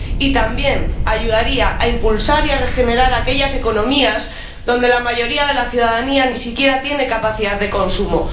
Y también ayudaría a impulsar y a regenerar aquellas economías donde la mayoría de la ciudadanía ni siquiera tiene capacidad de consumo